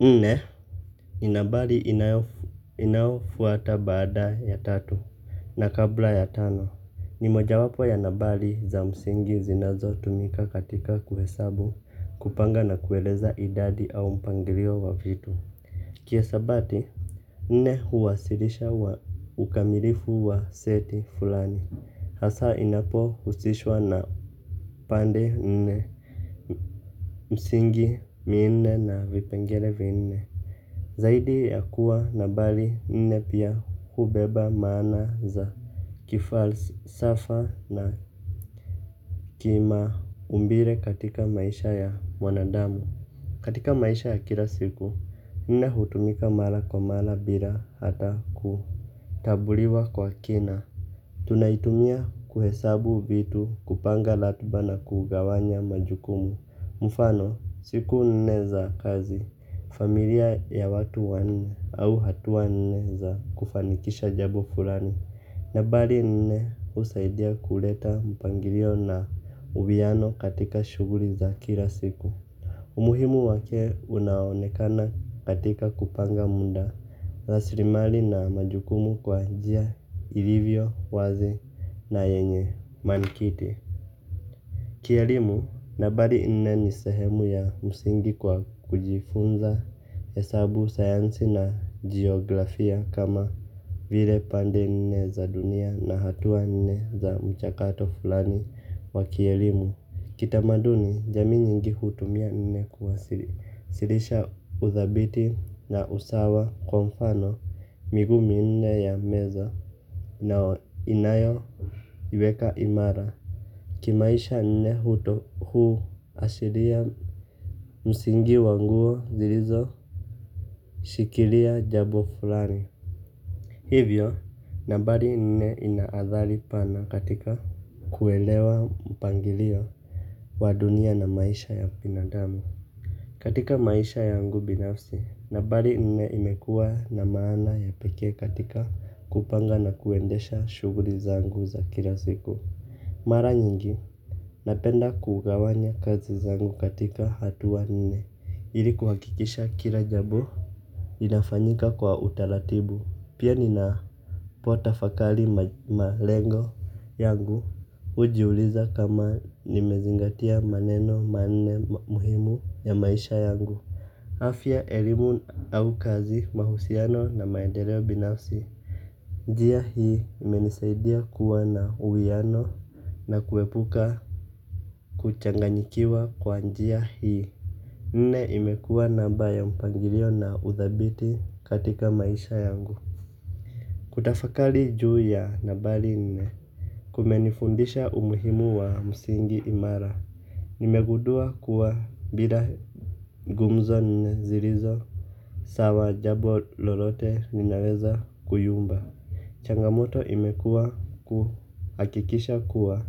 Nne ni nambari inayofuata baada ya tatu na kabla ya tano. Ni moja wapo ya nambari za msingi zinazotumika katika kuhesabu kupanga na kueleza idadi au mpangilio wa vitu. Kihesabati nne huwasilisha ukamilifu wa seti fulani. Hasa inapohusishwa na pande nne msingi minne na vipengele vinne. Zaidi ya kuwa nambari nne pia hubeba maana za kifalsafa na kimaumbile katika maisha ya wanadamu. Katika maisha ya kila siku nne hutumika mara kwa mara bila hata kutambuliwa kwa kina. Tunaitumia kuhesabu vitu kupanga ratiba na kugawanya majukumu mfano siku nne za kazi familia ya watu wanne au hatua nne za kufanikisha jambo fulani. Nambari nne husaidia kuleta mpangilio na uwiano katika shughuli za kila siku. Umuhimu wake unaonekana katika kupanga muda rasilimali na majukumu kwa njia ilivyo wazi na yenye mankiti. Kielimu nambari nne ni sehemu ya msingi kwa kujifunza hesabu sayansi na geografia kama vile pande nne za dunia na hatua nne za mchakato fulani wa kielimu. Kitamaduni jamii nyingi hutumia nne kuwasilisha udhabiti na usawa kwa mfano miguu minne ya meza na inayoiweka imara. Kimaisha nne huto huashiria msingi wa nguo zilizo shikilia jambo fulani. Hivyo nambari nne ina athali pana katika kuelewa mpangilio wa dunia na maisha ya binadami. Katika maisha yangu binafsi nambari nne imekuwa na maana ya pekee katika kupanga na kuendesha shughuli zangu za kila siku mara nyigi napenda kugawanya kazi zangu katika hatua nne ili kuhakikisha kila jambo inafanyika kwa utaratibu pia ninapotafakari malengo yangu hujiuliza kama nimezingatia maneno manne muhimu ya maisha yangu afya elimu au kazi mahusiano na maendeleo binafsi. Njia hii imenisaidia kuwa na uwiano na kuepuka kuchanganyikiwa kwa njia hii. Nne imekua namba ya mpangilio na udhabiti katika maisha yangu. Kutafakari juu ya nambari nne kumenifundisha umuhimu wa msingi imara. Nimegundua kuwa bila gumzo nne zilizo sawa jambo lolote linaweza kuyumba. Changamoto imekua kuhakikisha kuwa